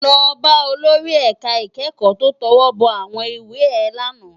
Lò bá ólóri èká ikèékò tó tòwòbò áwòn iwé è làná